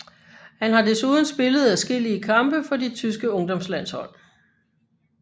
Han har desuden spillet adskillige kampe for de tyske ungdomslandshold